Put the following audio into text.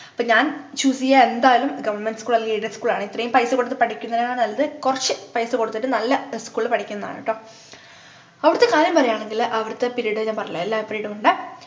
അപ്പൊ ഞാൻ choose ചെയ്യുക എന്തായാലും government school അല്ലെങ്കി aided school ആണ് ഇത്രേം പൈസകൊടുത്തു പഠിക്കുന്നതിനേക്കാൾ നല്ലത് കൊറച്ചു പൈസ കൊടുത്തിട്ട് നല്ല school ലു പഠിക്കുന്നതാണ് ട്ടോ അവിടെത്തെ കാര്യം പറയാണെങ്കിൽ അവിടെത്തെ period ഞാൻ പറഞ്ഞിട്ടില്ലേ എല്ലാ period ഉം ഉണ്ട്